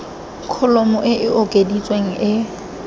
kholomo e e okeditsweng e